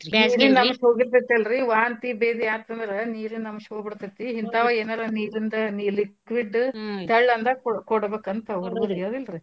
ನೀರಿನ್ ಅಂಶ ಹೋಗಿರ್ತೇತಲ್ರೀ ವಾಂತಿ, ಬೇದಿ ಆತಂದ್ರ ನೀರಿನ್ ಅಂಶ್ ಹೋಬಿಡ್ತೇತಿ ಹಿಂತಾವ ಏನಾರ ನೀರಿಂದ್ ನಿ~ liquid ತೆಳ್ಳಂದ ಕೊಡ್ಬೇಕಂತ ಹುಡ್ಗೂರ್ಗೆ ಹೌದಿಲ್ರೀ.